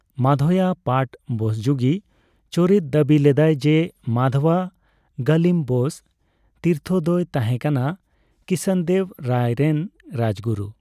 ᱢᱟᱫᱷᱳᱭᱟ ᱯᱟᱴᱷ ᱵᱳᱥᱡᱳᱜᱤ ᱪᱚᱨᱤᱛ ᱫᱟᱹᱵᱤ ᱞᱮᱫᱟᱭ ᱡᱮ ᱢᱟᱫᱷᱣᱟ ᱜᱟᱹᱞᱤᱢ ᱵᱳᱥ ᱛᱤᱨᱛᱷᱚ ᱫᱚᱭ ᱛᱟᱸᱦᱮᱠᱟᱱᱟ ᱠᱨᱤᱥᱱᱚᱫᱮᱵᱽ ᱨᱟᱭ ᱨᱮᱱ ᱨᱟᱡᱽᱜᱩᱨᱩ ᱾